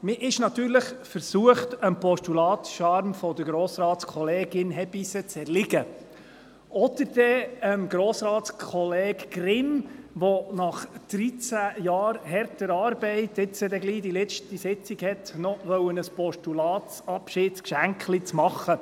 Man ist natürlich versucht, dem Postulatscharme von Grossratskollegin Hebeisen zu erliegen, oder aber Grossratskollege Grimm, der nach 13 Jahren harter Arbeit bald die letzte Sitzung hat, noch ein Postulatsabschiedsgeschenklein zu machen.